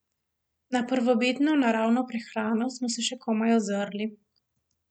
Na prvobitno, naravno prehrano smo se še komaj ozrli.